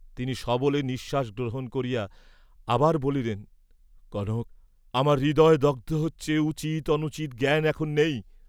তিনি সবলে নিশ্বাস গ্রহণ করিয়া আবার বলিলেন কনক, আমার হৃদয় দগ্ধ হচ্ছে উচিত অনুচিত জ্ঞান এখন নেই।